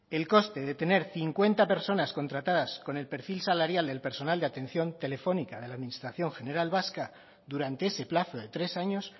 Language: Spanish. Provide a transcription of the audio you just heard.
el coste de tener cincuenta personas contratadas con el perfil salarial del personal de atención telefónica de la administración general vasca durante ese plazo de tres años